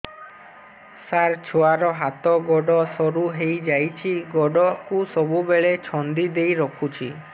ସାର ଛୁଆର ହାତ ଗୋଡ ସରୁ ହେଇ ଯାଉଛି ଗୋଡ କୁ ସବୁବେଳେ ଛନ୍ଦିଦେଇ ରଖୁଛି